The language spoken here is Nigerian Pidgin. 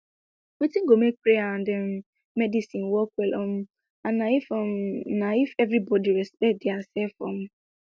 wetin go make prayer and um medicine work well um na if um na if everybody respect diasef um